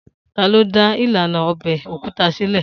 Ta ló dá ìlànà ọbẹ̀ òkúta sílè